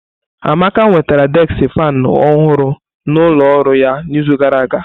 Amaka nwetara deski faanụ ọhụrụ n'ụlọ ọrụ ya n'izu gara aga.